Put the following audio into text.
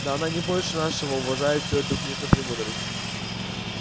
да она не больше нашего уважает всю эту книжную премудрость